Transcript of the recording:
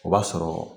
O b'a sɔrɔ